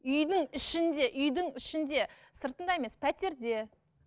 үйдің ішінде үйдің ішінде сыртында емес пәтерде